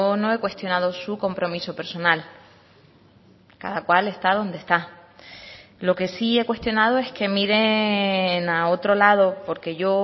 no he cuestionado su compromiso personal cada cual está donde está lo que sí he cuestionado es que miren a otro lado porque yo